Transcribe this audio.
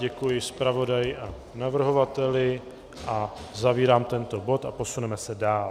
Děkuji zpravodaji a navrhovateli a zavírám tento bod a posuneme se dál.